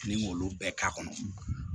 Ni k'olu bɛɛ k'a kɔnɔ